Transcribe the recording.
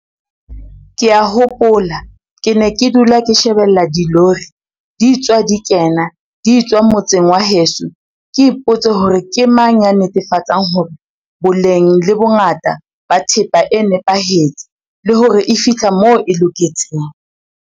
Ke a hopola ke ne ke dula ke shebella dilori di tswa di kena di etswa motseng wa heso ke ipotse hore ke mang ya netefatsang hore boleng le bongata ba thepa e nepahetse le hore e fihla moo e loketseng.